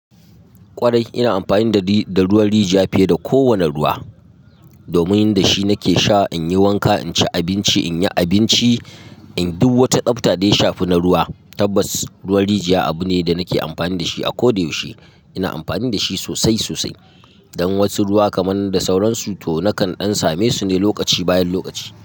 Kwarai ina amfani da ruwan rijiya fiye da kowane ruwa domin da shi nake sha, in yi wanka, in ci abinci, in yi abinci. Duk wata tsafta dai shafi na ruwa tabbas ruwan rijiya abu ne da nake amfani da shi a koda yaushe. Ina amfani da shi sosai sosai dan wasu ruwa kamar da sauransu to nakan dan samesu ne lokaci bayan lokaci.